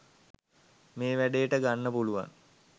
මේ වැඩේට ගන්න පුළුවන්